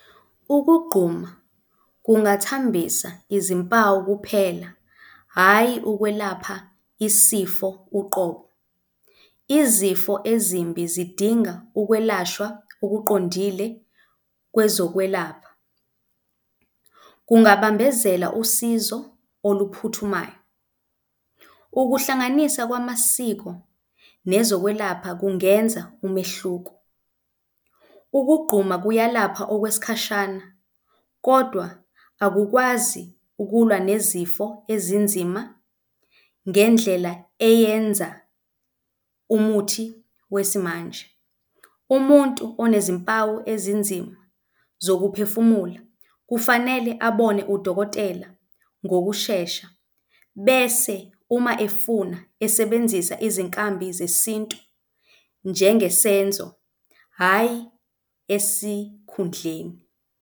Ukugquma kungathambisa izimpawu kuphela, hhayi, ukwelapha isifo uqobo. Izifo ezimbi zidinga ukwelashwa okuqondile kwezokwelapha. Kungabambezela usizo oluphuthumayo. Ukuhlanganisa kwamasiko nezokwelapha kungenza umehluko. Ukugquma kuyalapha okwesikhashana, kodwa akukwazi ukulwa nezifo ezinzima ngendlela eyenza umuthi weismanje. Umuntu unezimpawu ezinzima zokuphefumula, kufanele abone udokotela ngokushesha bese uma efuna esebenzisa izinkambi zesintu njengesenzo, hhayi esikhundleni.